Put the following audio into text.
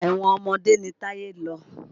Ẹ̀wọ̀n ọmọdé ni Táyé lọ.